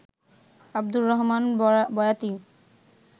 Abdur Rahman Boyati